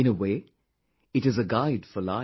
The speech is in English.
In a way, it is a guide for life